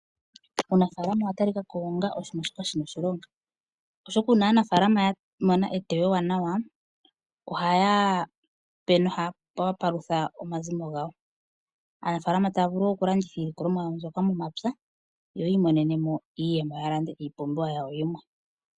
Uunafaalama owa talikako onga oshinima shoka shina oshilonga oshoka uuna aanafaalama yamona eteyo ewanawa ohayape noku palutha omazimo gawo . Aanafaalama otaya vulu okulanditha iikunomwa yawo mbyoka yo yi imonenemo iiyemo ya lande oompumbwe dhawo.